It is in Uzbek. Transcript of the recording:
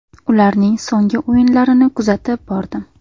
Ularning so‘nggi o‘yinlarini kuzatib bordim.